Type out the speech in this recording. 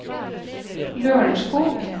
Lørenskog